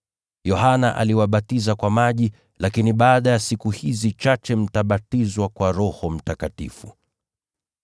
Yohana aliwabatiza kwa maji, lakini baada ya siku chache mtabatizwa kwa Roho Mtakatifu.”